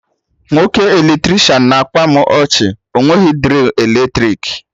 Nwoke Eletricịanahụ na-akpa mụ ọchị, ọ nweghị drill eletrik